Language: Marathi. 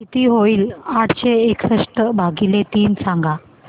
किती होईल आठशे एकसष्ट भागीले तीन सांगा